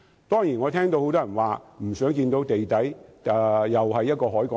當然，我聽到很多人說不想看到地底出現另一個海港城。